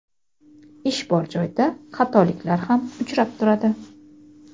ish bor joyda xatoliklar ham uchrab turadi.